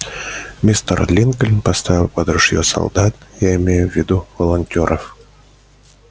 мистер линкольн поставил под ружье солдат я имею в виду волонтёров